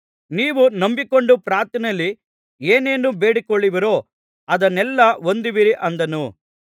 ನೀವು ನಂಬಿಕೊಂಡು ಪ್ರಾರ್ಥನೆಯಲ್ಲಿ ಏನೇನು ಬೇಡಿಕೊಳ್ಳುವಿರೋ ಅದನ್ನೆಲ್ಲಾ ಹೊಂದುವಿರಿ ಅಂದನು